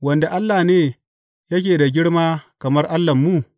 Wanda allah ne yake da girma kamar Allahnmu?